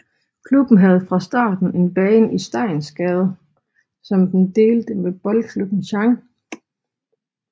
Klubben havde fra starten en bane i Steinsgade som den delte med Boldklubben Chang